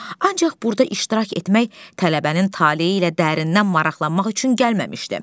ancaq burda iştirak etmək tələbənin taleyi ilə dərindən maraqlanmaq üçün gəlməmişdi.